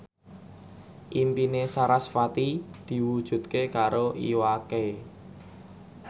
impine sarasvati diwujudke karo Iwa K